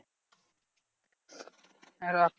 হ্যাঁ রাখ।